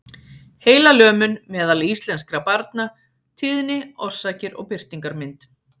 Heilalömun meðal íslenskra barna- tíðni, orsakir og birtingarmynd.